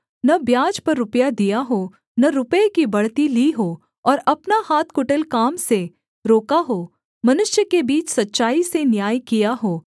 न ब्याज पर रुपया दिया हो न रुपये की बढ़ती ली हो और अपना हाथ कुटिल काम से रोका हो मनुष्य के बीच सच्चाई से न्याय किया हो